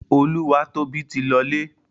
Olúwatóbi ti lọlé.